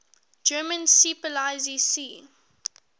german seepolizei sea